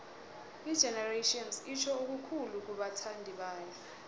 igenerations itjho okukhulu kubathandibayo